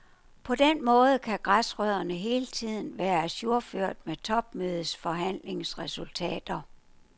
På den måde kan græsrødderne hele tiden være ajourført med topmødets forhandlingsresultater.